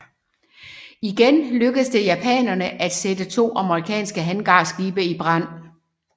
Igen lykkedes det japanerne at sætte to amerikanske hangarskibe i brand